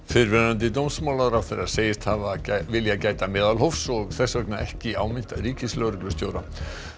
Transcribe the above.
fyrrverandi dómsmálaráðherra segist hafa viljað gæta meðalhófs og þess vegna ekki áminnt ríkislögreglustjóra